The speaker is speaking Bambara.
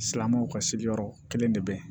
Silamɛw ka sigiyɔrɔ kelen de be yen